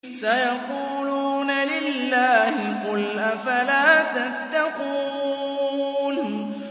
سَيَقُولُونَ لِلَّهِ ۚ قُلْ أَفَلَا تَتَّقُونَ